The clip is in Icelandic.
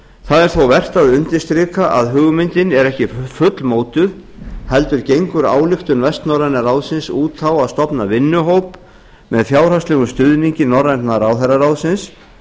það er þó vert að undirstrika að hugmyndin er ekki fullmótuð heldur gengur ályktun vestnorræna ráðsins út á að stofna vinnuhóp með fjárhagslegum stuðningi norræna ráðherraráðsins